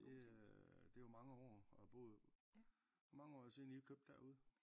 Det øh det jo mange år at have boet hvor mange år siden i købte derude?